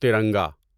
ترنگا